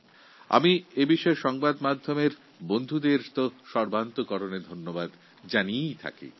এই বিষয়ে আমি প্রথম দিন থেকেই প্রচার মাধ্যমের বন্ধুদের ধন্যবাদ জানিয়ে আসছি